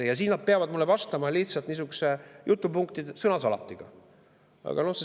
Siis nad peavad mulle vastama lihtsalt niisuguse sõnasalatiga.